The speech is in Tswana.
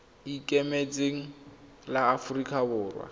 le ikemetseng la aforika borwa